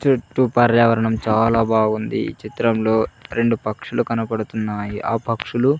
చుట్టూ పర్యావరణం చాలా బావుంది ఈ చిత్రంలో రెండు పక్షులు కనపడుతున్నాయి ఆ పక్షులు.